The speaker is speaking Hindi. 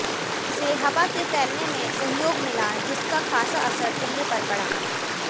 इसे हवा से फैलने में सहयोग मिला जिसका खासा असर दिल्ली पर पड़ा